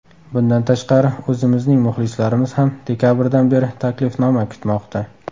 Bundan tashqari, o‘zimizning muxlislarimiz ham dekabrdan beri taklifnoma kutmoqda.